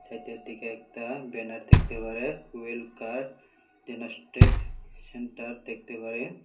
এতের দিকে একটা ব্যানার দেখতে পারে ওয়েল কার ইনোস্টেক সেন্টার দেখতে পারে।